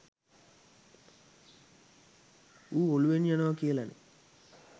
ඌ ඔලුවෙන් යනව කියලනෙ